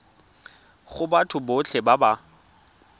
go batho botlhe ba ba